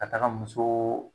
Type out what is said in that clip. Ka taga muso